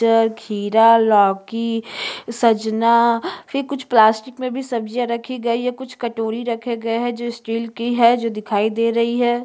ता खीरा लौकी सजना फिर कुछ प्लास्टिक में भी सब्जियां रखी गई हैं कुछ कटोरी रखे गए है जो स्टील की है जो दिखाई दे रही है।